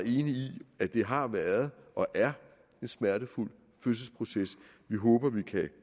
i at det har været og er en smertefuld fødselsproces vi håber vi kan